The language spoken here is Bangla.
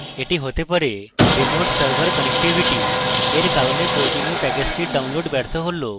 এটি হতে পারে remote server connectivity এর কারণে প্রয়োজনীয় প্যাকেজটির download ব্যর্থ হলো